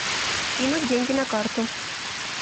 кинуть деньги на карту